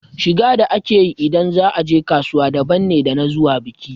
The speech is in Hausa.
Shiga da ake yi ida za a je kasuwa daban ne da na zuwa biki.